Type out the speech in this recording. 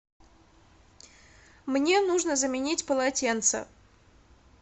мне нужно заменить полотенце